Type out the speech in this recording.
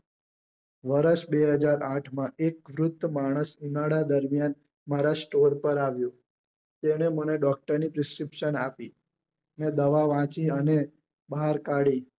વર્ષ બે હજાર આઠ માં એક વૃદ્ધ માણસ ઉનાળા દરમિયાન મારા store પર આવ્યો તેને મને doctor ની prescription આપી મેં દવા વાંચી અને બહાર કાઢી